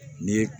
Ni ye